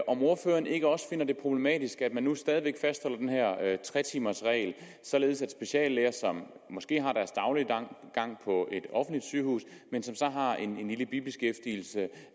om ordføreren ikke også finder det problematisk at man stadig væk fastholder den her tre timers regel således at speciallæger der måske har deres daglige gang på et offentligt sygehus men som så har en lille bibeskæftigelse